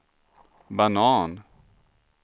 banan